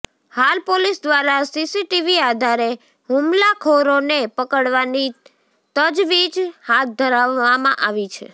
હાલ પોલીસ દ્વારા સીસીટીવી આધારે હુમલાખોરોને પકડવાની તજવીજ હાથ ધરવામાં આવી છે